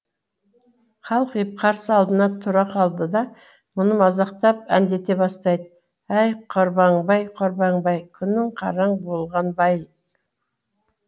қалқиып қарсы алдына тұра қалды да оны мазақтап әндете бастайды әй қорбаңбай қорбаңбай күнің қараң болған ба ай